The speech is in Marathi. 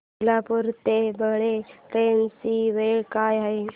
सोलापूर ते बाळे ट्रेन ची वेळ काय आहे